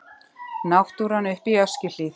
Náttúran uppi í Öskjuhlíð.